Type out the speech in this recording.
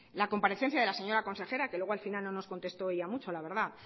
la comparecencia de la señora consejera que luego al final no nos contestó ella mucho la verdad